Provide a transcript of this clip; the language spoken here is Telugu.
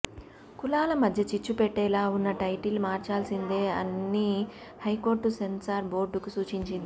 కులాల మధ్య చిచ్చు పెట్టేలా ఉన్న టైటిల్ మార్చాల్సిందే అన్ని హైకోర్టు సెన్సార్ బోర్డుకు సూచించింది